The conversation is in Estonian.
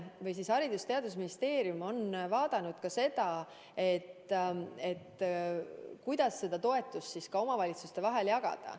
Haridus- ja Teadusministeerium on vaadanud ka seda, kuidas toetust omavalitsuste vahel jagada.